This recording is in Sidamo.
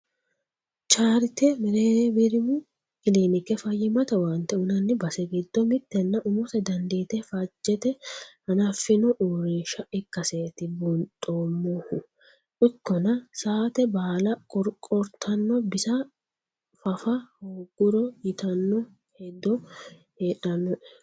Chaarite merewrimu kiliinike fayyimmate owaante uyinanni base giddo mitenna umose dandiite faajete hanafino uurrinsha ikkaseti buuxoommohu ikkonna saate baalla qorqortano bisa fafa hooguro ytano hedo heedhanoe.